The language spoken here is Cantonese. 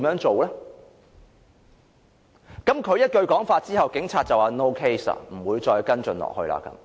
他說了那句話後，警察便說 ："no case"， 不會再跟進。